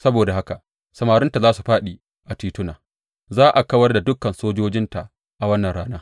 Saboda haka, samarinta za su fāɗi a tituna; za a kawar da dukan sojojinta a wannan rana,